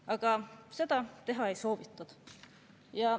Aga seda teha ei soovitud.